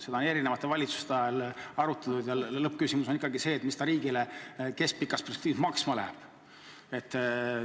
Seda võimalust on eri valitsuste ajal arutatud ja lõppküsimus on ikkagi selles, mis ta riigile keskpikas perspektiivis maksma läheb.